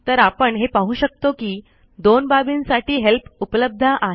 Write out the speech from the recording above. तर आपण हे पाहू शकतो कि दोन बाबींसाठी हेल्प उपलब्ध आहे